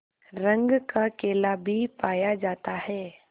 रंग का केला भी पाया जाता है